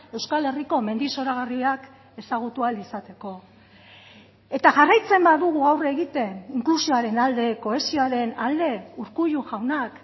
euskal herriko mendi zoragarriak ezagutu ahal izateko eta jarraitzen badugu aurre egiten inklusioaren alde kohesioaren alde urkullu jaunak